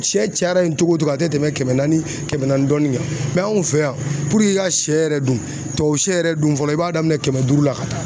Sɛ cayara ye togo togo a tɛ tɛmɛn kɛmɛ naani kɛmɛ naani dɔɔni kan anw fɛ yan puruke i ka sɛ yɛrɛ dun tubabusɛ yɛrɛ dun fɔlɔ i b'a daminɛn kɛmɛ duuru la ka taa.